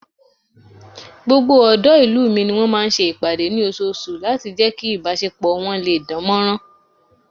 Gbogbo ọ̀dọ́ ìlú mi ni wọ́n máa ń ṣe ìpàdé ní oṣooṣù láti jẹ́ kí ìbásepọ̀ wọ́n lè dánmọ́nrán